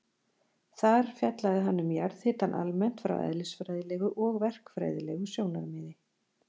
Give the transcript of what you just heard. Þar fjallaði hann um jarðhitann almennt frá eðlisfræðilegu og verkfræðilegu sjónarmiði.